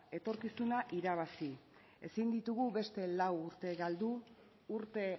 etorkizuna irabazi ezin ditugu beste lau urte galdu urte